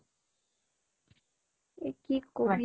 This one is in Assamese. এ কি কবি